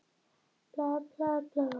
Það voru þó fréttir.